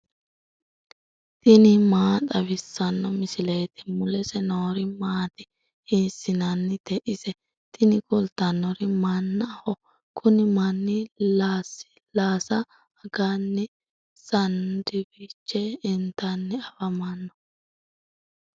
tini maa xawissanno misileeti ? mulese noori maati ? hiissinannite ise ? tini kultannori mannaho. kuni manni lasilaassa aganni saandwiche intanni afamanno.